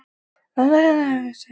Láttu hann ekki gleypa þig alveg!